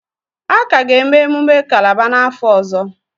A ka ga-eme emumme Kálábá n'afọ ọzọ